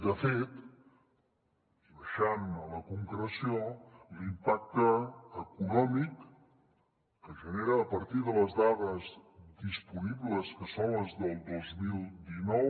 de fet i baixant a la concreció l’impacte econòmic que genera a partir de les dades disponibles que són les del dos mil dinou